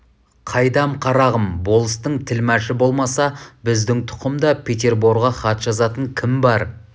қайдам қарағым болыстың тілмашы болмаса біздің тұқымда петерборға хат жазатын кім бар